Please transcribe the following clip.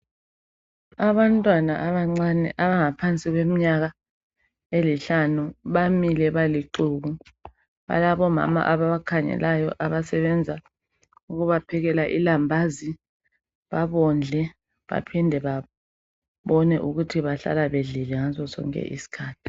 Abantwana abancane abangaphansi kweminyaka emihlanu bamile balixuku ,balabomama ababakhangelayo, abasebenza ukubaphekela ilambazi babondle baphinde babone ukuthi bahlala bedlile ngasosonke isikhathi.